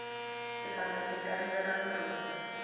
timanga ti kandzela miroho